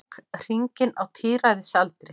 Ók hringinn á tíræðisaldri